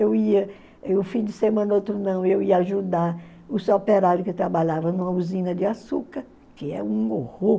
Eu ia, um fim de semana, outro não, eu ia ajudar os operário que trabalhava numa usina de açúcar, que é um horror.